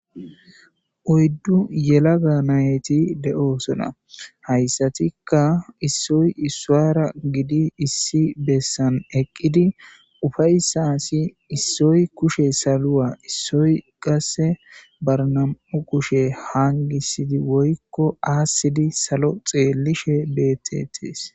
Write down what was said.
Oyiddu yelaga nayitti de'osona hayisatikka issoyi issuwara gidi issi bessani eqqidi uffayissas issoyi kushshe saluwa issoyi qase baa nam''u kushshe hanigissid woyikko assidd salo xellishshe betetees.